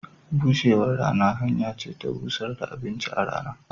Bushewan rana hanya ce ta bushar da abinci a rana.